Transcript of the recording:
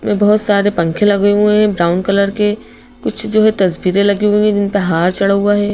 में बहुत सारे पंखे लगे हुए हैं ब्राउन कलर केकुछ जो है तस्वीरें लगी हुई है जिन पर हार चढ़ा हुआ है।